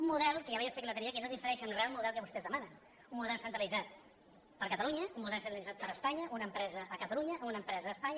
un model que ja vaig explicar l’altre dia que no difereix en re al model que vostès demanen un model centralitzat per a catalunya un model centralitzat per a espanya una empresa a catalunya una empresa a espanya